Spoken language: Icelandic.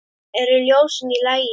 Eru ljósin í lagi?